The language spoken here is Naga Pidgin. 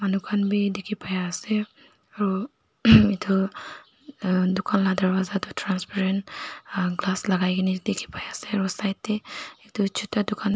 tokan bi diki pai asae aro ahemm etu emm tokan laga darwaja toh transparent emm glass lagaikina diki pai sae aro side dae juta tokan.